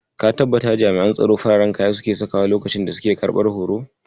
Ka tabbata jami'an tsaro fararen kaya suke sakawa lokacin da suke karɓar hoto?